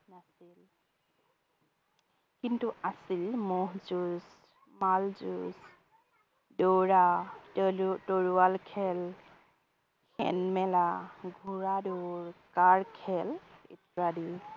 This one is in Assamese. কিন্তু আছিল মহ যুঁজ, মাল যুঁজ, দৌৰা তলু তৰোৱাল খেল, হেন মেলা, ঘোৰা দৌৰ, কাঁড় খেল ইত্যাদি